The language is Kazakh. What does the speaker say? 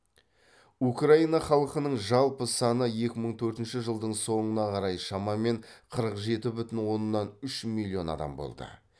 украина халқының жалпы саны екі мың төртінші жылдың соңына қарай шамамен қырық жеті бүтін оннан үш миллион адам болды